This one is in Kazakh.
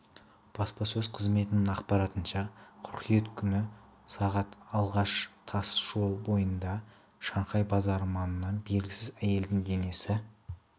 баспасөз қызметінің ақпаратынша қыркүйек күні сағат алаш тас жолы бойындағы шанхай базары маңынан белгісіз әйелдің денесі